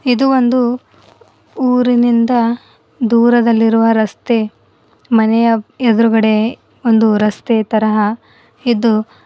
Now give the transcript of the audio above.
ಇದು ಒಂದು ಊರಿನಿಂದ ದೂರದಲ್ಲಿರುವ ರಸ್ತೆ ಮನೆಯ ಎದ್ರುಗಡೆ ಒಂದು ರಸ್ತೆ ತರಹ ಇದ್ದು--